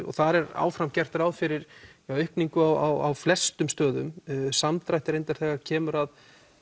og þar er áfram gert ráð fyrir aukningu á flestum stöðum samdrætti reyndar þegar kemur að